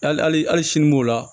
Hali sini b'o la